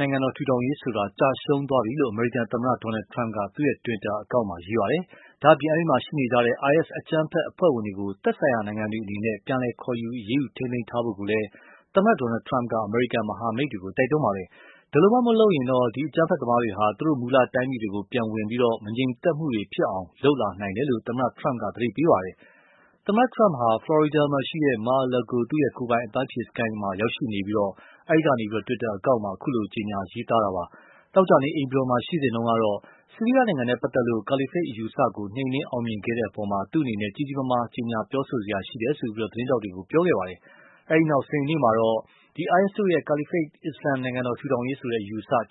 နိုင်ငံတော်ထူထောင်ရေးဆိုတာ ကျရှုံးသွားပြီလို့ အမေရိကန်သမ္မတ Donald Trump က သူ့ တွစ်တာအကောင့်ကနေ ရေးပါတယ်။ ဒါ့အပြင် အဲဒီမှာရှိနေကြတဲ့ IS အကြမ်းဖက်အဖွဲ့ဝင်တွေကို သက်ဆိုင်ရာနိုင်ငံတွေအနေနဲ့ ပြန်လည်ခေါ်ယူ အရေးယူ ထိန်းသိမ်းထားဖို့ကိုလည်း သမ္မတ Trump က အမေရိကန်မဟာမိတ်တွေကို တိုက်တွန်းပါတယ်။ ဒီလိုမှ မလုပ်ရင်တော့ ဒီအကြမ်းဖက်သမားတွေဟာ သူတို့ မူလတိုင်းပြည်တွေကို ပြန်ဝင်ပြီး မငြိမ်မသက် မှုတွေဖြစ်အောင် လုပ်လာနိုင်တယ်လို့ သမ္မတ Trump က သတိပေးပါတယ်။ သမ္မတ Trump ဟာ ဖလော်ရီဒါ မှာရှိတဲ့ Mar-a-Lago သူ့ကိုယ်ပိုင် အပန်းဖြေစခန်းမှာ ရောက်ရှိနေပြီး အဲဒီကနေ တွစ်တာအကောင့်မှာ အခုလို ရေးသားတာပါ။ သောကြာနေ့ အိမ်ဖြူတော်မှာရှိစဉ်တုန်းကတော့ ဆီးရီယားနဲ့ပတ်သက်ပြီး Caliphate အယူအဆကို နှိမ်နင်းအောင်မြင်ခဲ့တဲ့အပေါ် ကြီးကြီးမားမား ကြေညာပြောဆိုစရာရှိတယ်လို့ သတင်းထောက်တွေကို ပြောခဲ့ပါတယ်။ အဲဒီနောက် စနေနေ့မှာတော့ IS တို့ရဲ့ Caliphate အစ္စလာမ်နိုင်ငံတော်ထူထောင်ရေးဆိုတာ